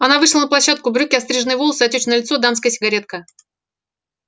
она вышла на площадку брюки остриженные волосы отёчное лицо дамская сигаретка